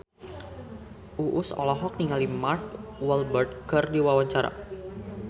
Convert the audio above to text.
Uus olohok ningali Mark Walberg keur diwawancara